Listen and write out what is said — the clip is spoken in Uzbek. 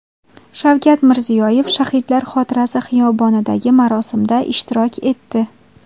Shavkat Mirziyoyev Shahidlar xotirasi xiyobonidagi marosimda ishtirok etdi.